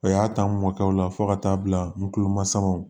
O y'a ta n mɔkɛw la fo ka taa bila n kulomasamaw